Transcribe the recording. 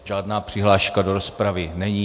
Žádná přihláška do rozpravy není.